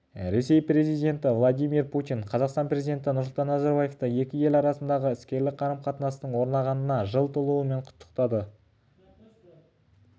ресей президенті владимир путин қазақстан президенті нұрсұлтан назарбаевты екі ел арасындағы іскерлік қарым-қатынастың орнағанына жыл толуымен құттықтады бұл туралы кремльдің баспасөз